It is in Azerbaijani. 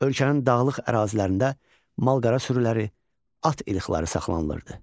Ölkənin dağlıq ərazilərində mal-qara sürülori, at irqləri saxlanılırdı.